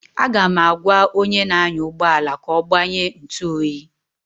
Aga m egwa onye na anya ụgbọala ka ọ gbanye ntụ oyi